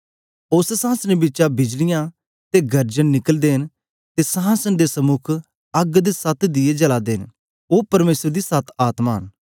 उस्स संहासने बिचै बिजलियां ते गर्जन निकलदे न ते संहासन दे समुक अग्ग दे सत दीये जला दे न ओ परमेसर दी सत आत्मा न